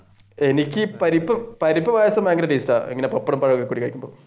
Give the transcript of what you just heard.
എനിക്ക് പരിപരിപ്പ് പായസം ഭയങ്കര